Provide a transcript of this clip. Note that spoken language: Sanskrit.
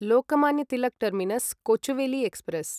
Lokmanya Tilak terminus Kochuveli express